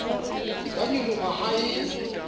di ka nyoloha ha e